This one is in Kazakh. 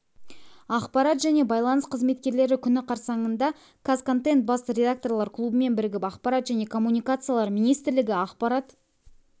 ақпарат және байланыс қызметкерлері күні қарсаңында қазконтент бас редакторлар клубымен бірігіп ақпарат және коммуникациялар министрлігі ақпарат